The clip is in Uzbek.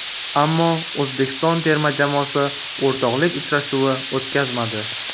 Ammo O‘zbekiston terma jamoasi o‘rtoqlik uchrashuvi o‘tkazmadi.